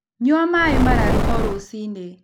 Nyua maĩ mararu o rũcĩĩnĩ